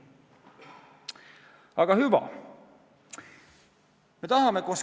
Aga hüva!